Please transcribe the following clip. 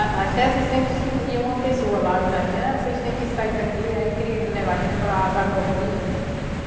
A a Chece sempre se ia uma pessoa lá, (avisava) a gen, vocês têm que sair daqui, aí queria levar a gente para as agrovilha.